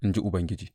in ji Ubangiji.